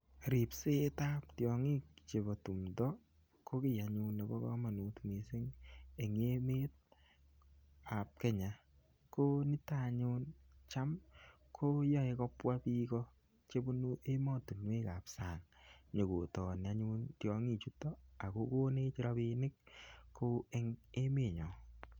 Ripset ab tiong'ik chebo timdo ko kiy anyun nebo komonut mising en emet ab Kenya. Ko niton anyun cham koyoe kobwa bik ko chebunu emotinwek ab sang. Nyo ko tong'i anyun tiong'ichuto ak kogonech rabinik ko en emenyon.